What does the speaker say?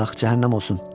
Ax, cəhənnəm olsun!